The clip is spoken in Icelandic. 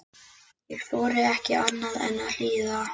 Ég þorði ekki annað en að hlýða.